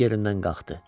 İt yerindən qalxdı.